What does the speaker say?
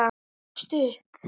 Ég gefst upp.